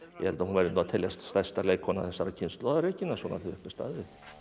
ég held að hún verði nú að teljast stærsta leikkona þessarar kynslóðar svona þegar upp er staðið